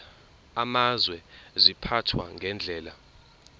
amazwe ziphathwa ngendlela